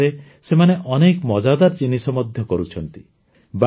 ଏ କ୍ଷେତ୍ରରେ ସେମାନେ ଅନେକ ମଜାଦାର ଜିନିଷ ମଧ୍ୟ କରୁଛନ୍ତି